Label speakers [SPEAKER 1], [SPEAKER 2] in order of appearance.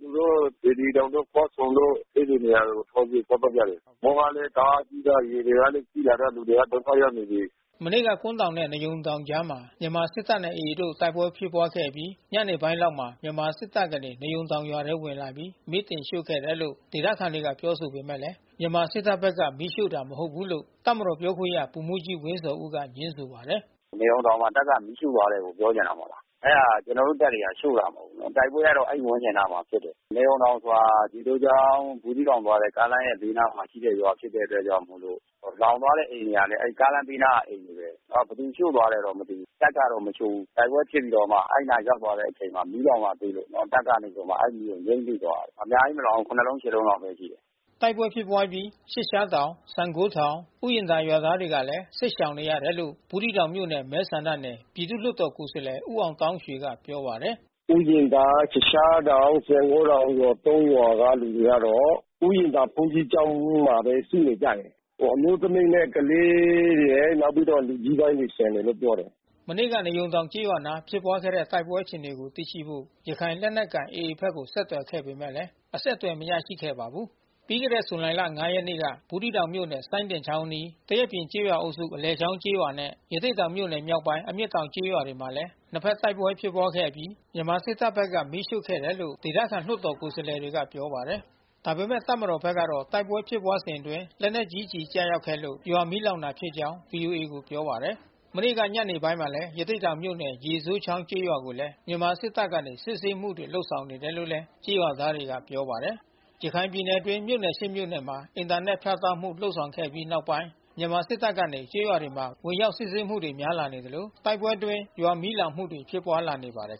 [SPEAKER 1] သူတို့ စေတီတောင်တို့ခွဆုံတို့ အဲဒီနေရာကိုထွက်ပြေးသွား ကြတယ်။ မိုးကလည်း တအားကြီးတော့ ရေကလည်း ကြီးလာတော့လူတွေကဒုက္ခရောက်နေပြီး။
[SPEAKER 2] ” မနေ့က ကွမ်းတောင်နဲ့နွားရုံတောင်ကြားမှာ မြန်မာစစ်တပ်နဲ့ AAတို့တိုက်ပွဲဖြစ်ခဲ့အပြီး ညနေပိုင်းလောက်မှာ မြန်မာစစ်တပ်ကနေ နွားရုံတောင်ရွာထဲဝင်လာပြီး မီးတင်ရှို့ခဲ့တယ်လို့ဒေသခံတွေကပြောပေမဲ့ မြန်မာစစ်တပ်ဖက် ကမီးရှို့တာမဟုတ်ဘူးလို့ တပ်မတော်ပြောခွင့်ရ ဗိုလ်မှူးကြီးဝင်းဇော်ဦးက ငြင်းဆိုပါတယ်။
[SPEAKER 3] “နွားရုံတောင်မှာတပ်ကမီးရှို့သွားတယ်လို့ပြောချင်တာမဟုတ်လား။ အဲတာ ကျွန်တော်တို့တပ်တွေက ရှို့တာမဟုတ်ဘူး တိုက်ပွဲကတော့အဲဒီဝန်းကျင်မှာဖြစ်တယ်။ နွားရုံတောင်ဆိုတာ ရေစိုးချောင်း ဘူးသီးတောင်သွားတဲ့ ကားလမ်းရဲ့ ဘေး နားမှာ ရှိတဲ့ရွာ ဖြစ်တဲ့အတွက်ကြောင့်မို့လို့ လောင်သွားတဲ့အိမ်တွေကလဲ အဲဒီကားလမ်းဘေးမှာရှိတဲ့ အိမ်တွေပါဘဲ။ ဘယ်သူရှို့သွားလဲမသိဘူး။ တပ်ကတော့မရှို့ဘူး။ တိုက်ပွဲဖြစ်ပြီးတော့မှ အဲဒီနားရောက်သွားတဲ့အချိန်မှာ မီးလောင်မှာ စိုးလို့ တပ်ကနေပြီးတော့မှ အဲဒီမှာငြိမ်းပေးသွားတယ်။ အများကြီးမလောင်ဘူး။ လုံး လုံးလောက်ဘဲ ရှိတယ်။
[SPEAKER 2] ” တိုက်ပွဲဖြစ်ပွားအပြီး သျှစ်ရှားတောင် စံဂိုးထောင် ဥယာဉ်သာရွာကရွာသားတွေလဲ စစ်ရှောင်နေရတယ်လို့ ဘူးသီး တောင်မြို့နယ်မဲဆန္ဒနယ် ပြည်သူ့လွှတ်တော်ကိုယ်စားလှယ် ဦးအောင်သောင်းရွှေကပြောပါတယ်
[SPEAKER 1] ။ “ဥယာဉ်သာ သျှစ်ရှားတောင် စံဂိုးထောင်ရွာ ရွာကလူတွေကတော့ ဥယာဉ်သာ ဘုန်းကြီးကျောင်းမှာဘဲ ရှိနေကြတယ်။ အမျိုးသမီးနဲ့ကလေးရယ်။ နောက်ပြီးတော့ လူကြီးပိုင်းတွေ ကျန်နေတယ်လို့တော့ ပြောတယ်
[SPEAKER 2] ။” မနေ့ကနွားရုံတောင်ကျေးရွာအနားဖြစ်ပွားတဲ့ တိုက်ပွဲအခြေအနေကိုသိရှိဖို့ ရခိုင်လက်နက်ကိုင်AAဖက်ကို ဆက်သွယ် ခဲ့ပေမဲ့လဲ အဆက်သွယ်မရရှိခဲ့ပါဘူး။ ပြီးခဲ့တဲ့ ဇူလိုင်လ ရက်နေ့မှာ ဘူးသီးတောင်မြို့နယ် စိုင်းဒင်ချောင်းအနီး သရက်ပြင်ကျေးရွာအုပ်စု အလယ်ချောင်း ကျေးရွာနဲ့ ရသေ့တောင်မြို့နယ်မြောက်ပိုင်း အမျက်တောင်ကျေးရွာမှာလည်း နှစ်ဖက်တိုက်ပွဲဖြစ်ပွားအပြီး မြန်မာစစ် တပ်ဖက်က မီးရှို့ခဲ့တယ်လို့ ဒေသခံလွှတ်တော် ကိုယ်စားလှယ်တွေက ပြောပါတယ်။ ဒါပေမဲ့တပ်မတော်ဖက်ကတော့ တိုက်ပွဲဖြစ်ပွားစဉ်အတွင်း လက်နက်ကြီးကျည်ကျခဲ့လို့ ရွာမီးလောင်တာဖြစ်ကြောင်း ဗွီအိုအေကိုပြောပါတယ်။ မနေ့ကညနေပိုင်းမှာလဲ ရသေ့တောင်မြို့နယ် ရေစိုးချောင်းကျေးရွာကိုလဲ မြန်မာစစ်တပ်ကနေ စစ်ဆေးမှု လုပ်ဆောင် နေတယ်လို့ ကျေးရွာသားတွေကပြောပါတယ်။ ရခိုင်ပြည်နယ်အတွင်း မြို့နယ် မြို့နယ်မှာ အင်တာနက်ဖြတ်တောက်မှု လုပ်ဆောင်ပြီးနောက်ပိုင်း မြန်မာစစ်တပ်က နေကျေးရွာတွေမှာ ဝင်ရောက်စစ်ဆေးမှုတွေများလာသလို တိုက်ပွဲအတွင်း ရွာမီးလောင်မှုတွေ ဖြစ်ပွားလာနေပါတယ်